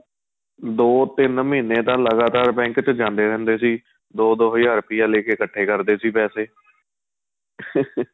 ਦੋ ਤਿੰਨ ਮਹੀਨੇਂ ਤਾਂ ਲਗਾਤਾਰ bank ਵਿੱਚ ਜਾਂਦੇ ਰਹਿੰਦੇ ਸੀ ਦੋ ਦੋ ਹਜ਼ਾਰ ਰੁਪਇਆਂ ਲੈਕੇ ਇੱਕਠੇ ਕਰਦੇ ਸੀ ਪੈਸੇ